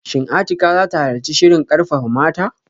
Shin Atikah zata halarci shirin karfafa mata?